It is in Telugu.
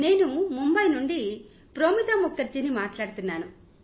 నేను ముంబాయ్ నుండి ప్రోమితా ముఖర్జీ ని మాట్లాడుతున్నాను